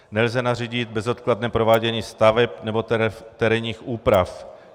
Nelze nařídit bezodkladné provádění staveb nebo terénních úprav.